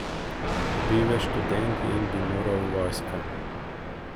Bil je študent in bi moral v vojsko.